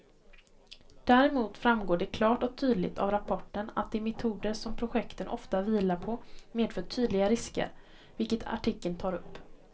Däremot framgår det klart och tydligt av rapporten att de metoder som projekten ofta vilar på medför tydliga risker, vilket artikeln tar upp.